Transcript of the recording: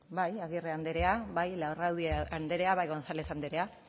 bai agirre andrea bai larrauri andrea bai gonzález andrea